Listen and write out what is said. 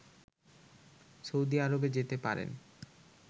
Saudi আরবে যেতে পারেন